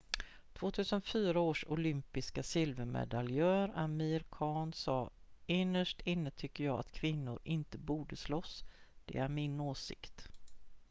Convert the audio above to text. "2004 års olympiska silvermedaljör amir khan sa "innerst inne tycker jag att kvinnor inte borde slåss. det är min åsikt.""